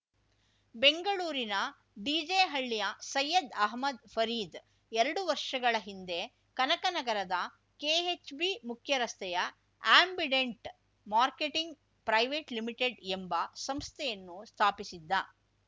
ಬೆಂಗಳೂರಿನ ಡಿಜೆಹಳ್ಳಿಯ ಸೈಯದ್‌ ಅಹಮ್ಮದ್‌ ಫರೀದ್‌ ಎರಡು ವರ್ಷಗಳ ಹಿಂದೆ ಕನಕ ನಗರದ ಕೆಎಚ್‌ಬಿ ಮುಖ್ಯರಸ್ತೆಯ ಆ್ಯಂಬಿಡೆಂಟ್‌ ಮಾರ್ಕೆಟಿಂಗ್‌ ಪ್ರೈವೈಟ್‌ ಲಿಮಿಟೆಡ್‌ ಎಂಬ ಸಂಸ್ಥೆಯನ್ನು ಸ್ಥಾಪಿಸಿದ್ದ